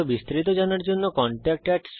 আরো বিস্তারিত জানার জন্য contactspoken tutorialorg তে লিখুন